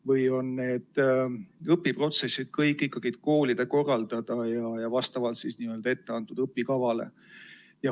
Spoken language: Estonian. Või on kogu õpiprotsess ikkagi koolide korraldada, nagu etteantud õpikava ette näeb?